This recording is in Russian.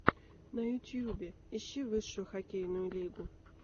на ютюбе ищи высшую хоккейную лигу